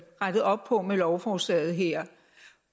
rettet op på med lovforslaget her